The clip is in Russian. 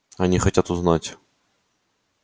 они хотят узнать